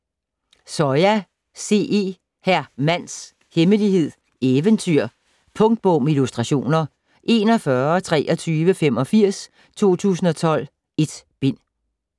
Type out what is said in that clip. Soya, C. E.: Hr. Mands Hemmelighed: Eventyr Punktbog med illustrationer 412385 2012. 1 bind.